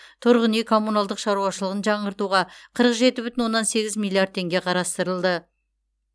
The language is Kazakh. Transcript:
тұрғын үй коммуналдық шаруашылығын жаңғыртуға қырық жеті бүтін оннан сегіз миллиард теңге қарастырылды